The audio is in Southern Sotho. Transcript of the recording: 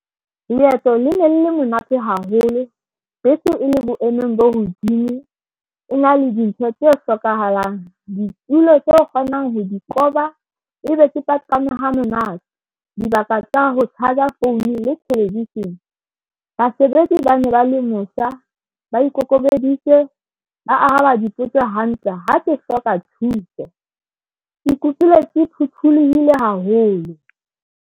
Leeto le ne le le monate haholo bese ene e le boemong bo hodimo, e na le dintho tse hlokahalang. Ditulo tse o kgonang ho di koba ebe ke paqame ha monate. Dibaka tsa ho charger phone le television basebetsi ba ne ba le mosa, ba ikokobeditse ba araba dipotso hantle ha ke hloka thuso. Ke ikutlwile ke phuthulohile haholo.